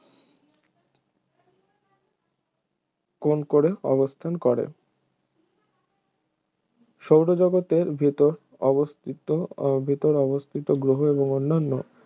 কোণ করে অবস্থান করে সৌর জগতের ভিতর অবস্থিত ভিতর অবস্থিত গ্রহ এবং অন্যান্য